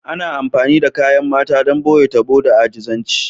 Ana amfani da kayan shafa don ɓoye tabo da ajizanci